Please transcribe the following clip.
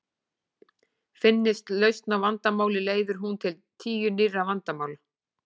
Finnist lausn á vandamáli leiðir hún til tíu nýrra vandamála.